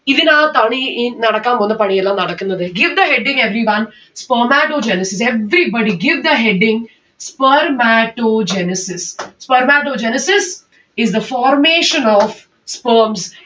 ഇതിന് അകത്താണ് ഈ ഈ നടക്കാൻ പോകുന്ന പണിയെല്ലാം നടക്കുന്നത്. give the heading everyone. spermatogenesis. everybody give the heading. spermatogenesis. spermatogenesis is the formation of sperms